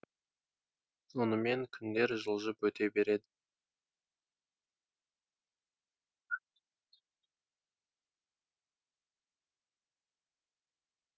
сонымен күндер жылжып өте береді